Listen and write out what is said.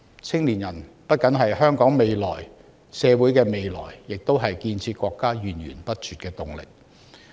青年人不僅是香港社會的未來，也是建設國家源源不絕的動力。